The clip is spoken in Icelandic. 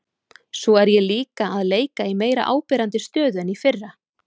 Svo er ég líka að leika í meira áberandi stöðu en í fyrra.